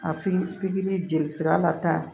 A fin pikiri jeli sira la tan